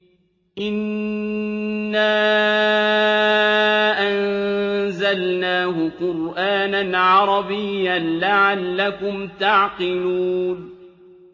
إِنَّا أَنزَلْنَاهُ قُرْآنًا عَرَبِيًّا لَّعَلَّكُمْ تَعْقِلُونَ